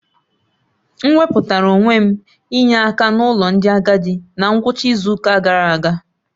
M wepụtara onwe m inye akan'ụlọ ndị agadi na ngwụcha izu ụka gara aga.